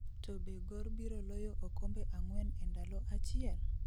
to be gor biro loyo okombe ang'wen e ndalo achiel?